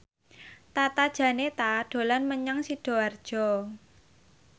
Tata Janeta dolan menyang Sidoarjo